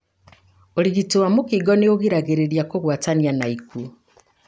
ũrigiti wa mũkingo nĩ ũgiragĩrĩria kũgwatania na ikuo.